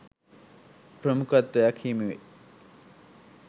ප්‍රමුඛත්වයක් හිමිවේ.